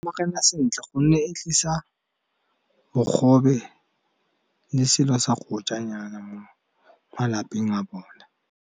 sentle gonne e tlisa bogobe le selo sa go ja nyana mo malapeng a bona.